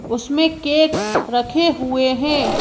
उसमें केक रखे हुए हैं।